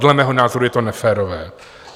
Dle mého názoru je to neférové.